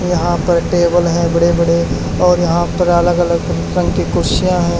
यहां पर टेबल है बड़े बड़े और यहां पर अलग अलग रंग की कुर्सियां हैं।